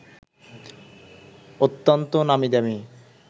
অত্যন্ত নামীদামি